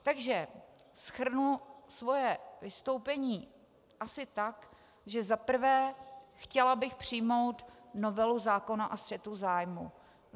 Takže shrnu svoje vystoupení asi tak, že za prvé, chtěla bych přijmout novelu zákona o střetu zájmů.